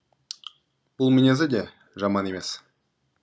бұл мінезі де жаман емес